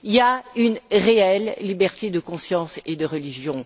Il y a une réelle liberté de conscience et de religion.